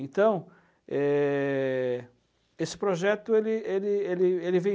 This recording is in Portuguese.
Então, é, esse projeto ele ele ele vem